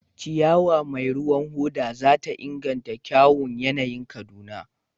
Ciyawa mai ruwan hoda za ta inganta kyawun yanayin Kaduna.